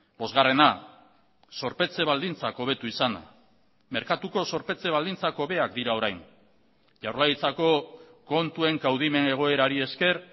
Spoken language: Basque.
bosgarrena zorpetze baldintzak hobetu izana merkatuko zorpetze baldintzak hobeak dira orain jaurlaritzako kontuen kaudimen egoerari esker